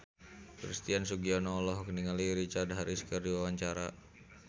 Christian Sugiono olohok ningali Richard Harris keur diwawancara